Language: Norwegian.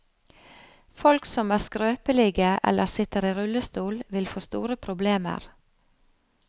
Folk som er skrøpelige eller sitter i rullestol, vil få store problemer.